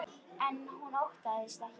En hún óttast ekki álfa.